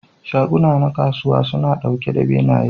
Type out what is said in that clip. Shaguna a kasuwa suna ɗauke da benaye.